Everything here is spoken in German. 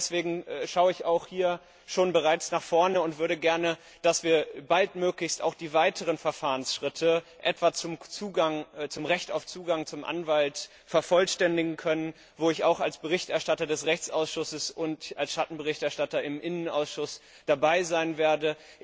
Deswegen schaue ich bereits nach vorne und hätte gerne, dass wir baldmöglichst auch die weiteren Verfahrensschritte, etwa zum Recht auf Zugang zu einem Anwalt, vervollständigen können, wo ich auch als Berichterstatter des Rechtsausschusses und als Schattenberichterstatter im LIBE Ausschuss dabei sein werde.